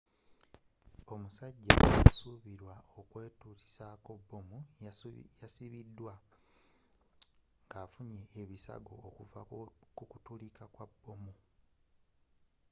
omusajja asubilwa okwetulisako bbomu yasibidwa nga affunye ebisago okuvva kukubwatuka kwa bbomu